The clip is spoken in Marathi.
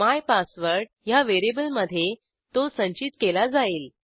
मायपासवर्ड ह्या व्हेरिएबलमधे तो संचित केला जाईल